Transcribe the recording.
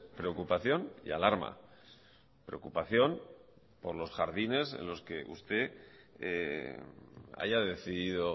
preocupación y alarma preocupación por los jardines en los que usted haya decidido